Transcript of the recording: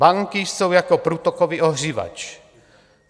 Banky jsou jako průtokový ohřívač.